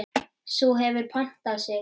Sú hefur puntað sig!